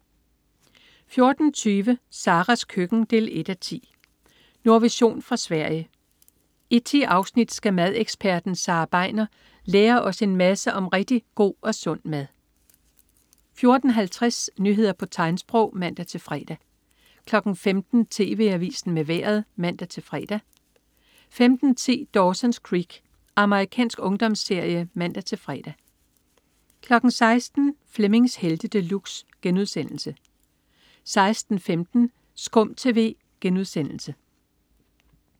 14.20 Saras køkken 1:10. Nordvision fra Sverige. I 10 afsnit skal madeksperten Sara Begner lære os en masse om rigtig god og sund mad 14.50 Nyheder på tegnsprog (man-fre) 15.00 TV Avisen med Vejret (man-fre) 15.10 Dawson's Creek. Amerikansk ungdomsserie (man-fre) 16.00 Flemmings Helte De Luxe* 16.15 SKUM TV*